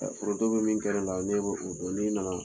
Ɛ foronto be min kɛ ne la, ne be o dɔn n'i nana